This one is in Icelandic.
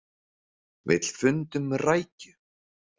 Vill fund um rækju